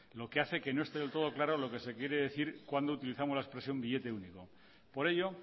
lo que hace que no esté del todo claro lo que se quiere decir cuando utilizamos la expresión billete único por ello